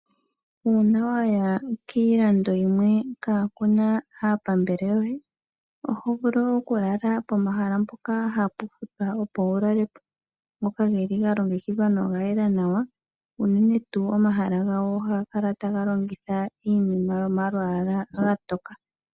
Uuna waya kiilando yimwe kaa kuna aapambele yoye oho vulu okulala pomahala mpoka opo wulale po ngoka geli ga longekidhwa noga yela nawa, unene tuu omahala gawo ohaga kala taga longitha iinima yomalwaala omatookele.